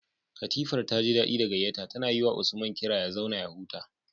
Katifar taji daɗi da gayyata, tana yiwa Usman kira ya zauna ya huta.